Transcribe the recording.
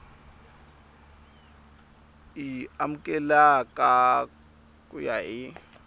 y amukeleka ku ya hi